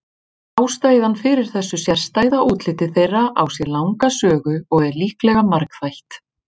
Ástæðan fyrir þessu sérstæða útliti þeirra á sér langa sögu og er líklega margþætt.